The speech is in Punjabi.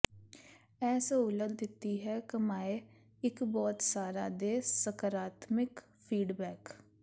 ਇਹ ਸਹੂਲਤ ਦਿੱਤੀ ਹੈ ਕਮਾਏ ਇੱਕ ਬਹੁਤ ਸਾਰਾ ਦੇ ਸਕਰਾਤਮਿਕ ਫੀਡਬੈਕ